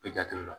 I jate la